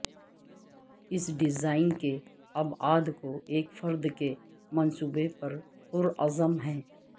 اس design کے ابعاد کو ایک فرد کے منصوبے پر پرعزم ہیں